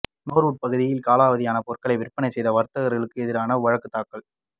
நோர்வூட் பகுதியில் காலாவதியான பொருட்கள் விற்பனை செய்த வர்த்தகர்களுக்கு எதிராக வழக்குத்தாக்கல்